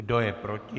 Kdo je proti?